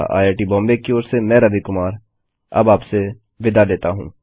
IIT Bombay की ओर से मैं रवि कुमार अब आपसे विदा लेता हूँ